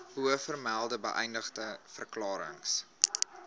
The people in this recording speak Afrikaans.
bovermelde beëdigde verklarings